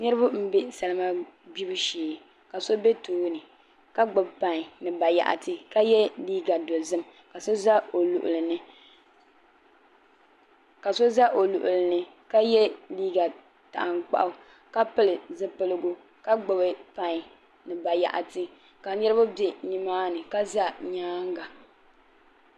niriba m-be salima gbibu shee ka so be tooni ka gbubi pain ni bayaɣiti ka ye liiga dozim ka so za o luɣili ni ka ye liiga tankpaɣu ka pili zipiligu ka gbubi pain ni bayaɣiti ka niriba be ni maani ka za nyaaŋa